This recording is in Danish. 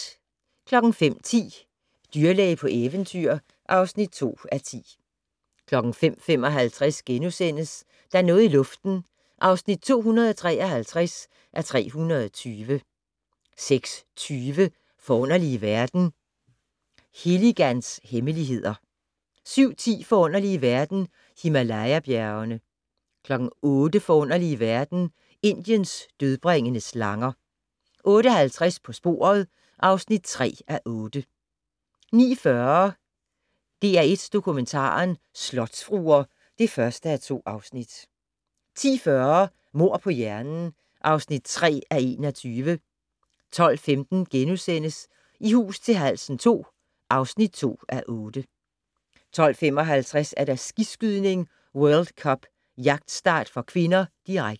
05:10: Dyrlæge på eventyr (2:10) 05:55: Der er noget i luften (253:320)* 06:20: Forunderlige verden - Heligans hemmeligheder 07:10: Forunderlige verden - Himalaya-bjergene 08:00: Forunderlige verden - Indiens dødbringende slanger 08:50: På sporet (3:8) 09:40: DR1 Dokumentaren: Slotsfruer (1:2) 10:40: Mord på hjernen (3:21) 12:15: I hus til halsen II (2:8)* 12:55: Skiskydning: World Cup - jagtstart (k) direkte